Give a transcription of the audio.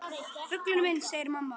Fuglinn minn, segir mamma.